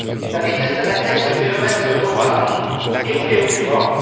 La vitesse à laquelle ce phénomène se propage est préoccupante.